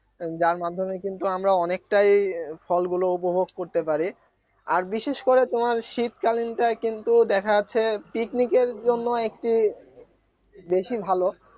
যার মাধ্যমে কিন্তু আমরা অনেকটাই ফলগুলো উপভোগ করতে পারি আর বিশেষ করে তোমার শীতকালীনটাই কিন্তু দেখা যাচ্ছে picnic এর জন্য একটি বেশি ভালো